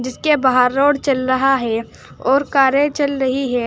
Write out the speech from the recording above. इसके बाहर रोड चल रहा है और कारें चल रही है।